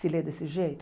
Se ler desse jeito?